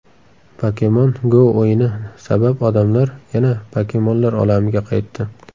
Pokemon Go o‘yini sabab odamlar yana pokemonlar olamiga qaytdi.